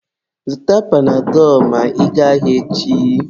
Zụta panadọlụ ma ị gaa ahịa echi